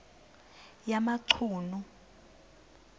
yamachunu